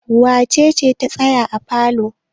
Wace ce ta tsaya a falo?